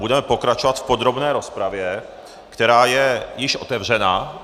Budeme pokračovat v podrobné rozpravě, která je již otevřena.